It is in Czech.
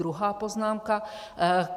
Druhá poznámka.